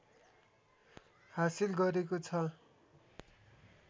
हासिल गरेको छ